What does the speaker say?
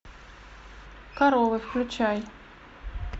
коровы включай